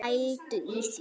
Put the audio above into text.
Pældu í því!